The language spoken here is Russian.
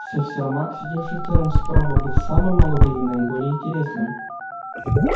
сэф сермак сидевший вторым справа был самым молодым и наиболее интересным